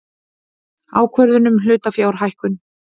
Ákvörðun um hlutafjárhækkun.